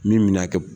Min mɛna kɛ